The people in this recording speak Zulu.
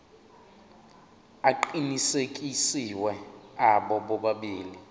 aqinisekisiwe abo bobabili